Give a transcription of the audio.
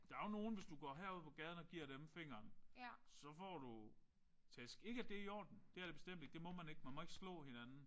Der er jo nogen hvis du gik herud på gaden og giver dem fingeren så får du tæsk ikke at det er i orden. Det er det bestemt ikke. Det må man ikke. Man må ikke slå hinanden